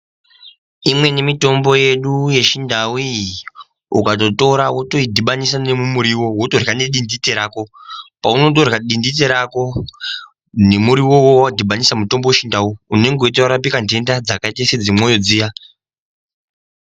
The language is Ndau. Imweni mitombo yedu yechindau iyi ukatotora wotoidhibanisa nemumuriwo wotorya dindite rako paunotorya dindite rako nemuriwo wawadhibanisa mutombo wechindau unenge weitorapika ntenda dzakaita sedzemwoyo dziya.